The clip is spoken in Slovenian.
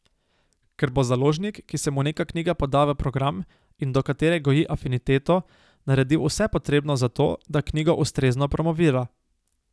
Ker bo založnik, ki se mu neka knjiga poda v program in do katere goji afiniteto, naredil vse potrebno za to, da knjigo ustrezno promovira.